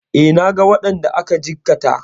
E, naga waɗanda aka jikkata.